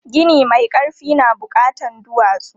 Gini mai ƙarfi na buƙatan duwatsu.